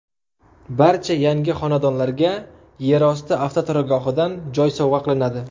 Barcha yangi xonadonlarga yerosti avtoturargohidan joy sovg‘a qilinadi.